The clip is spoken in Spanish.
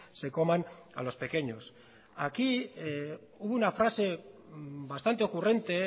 se coman a los pequeños aquí hubo una frase bastante ocurrente